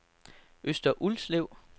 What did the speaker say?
Øster Ulslev